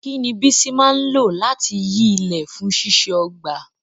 Kí ni Bisi máa ń lò láti yí ilẹ̀ fún ṣíṣe ọgbà?